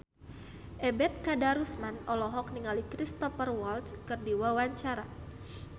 Ebet Kadarusman olohok ningali Cristhoper Waltz keur diwawancara